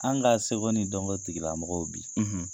An' ka seko ni dɔnko tigila mɔgɔw bi